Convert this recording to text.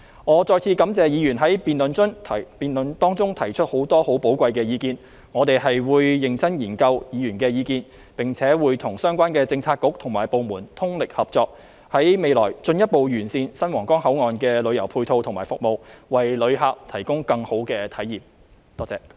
我再次感謝議員在辯論中提出很多寶貴意見，我們會認真研究議員的意見，並且跟相關政策局和部門通力合作，在未來進一步完善新皇崗口岸的旅遊配套和服務，為旅客提供更好的體驗，多謝。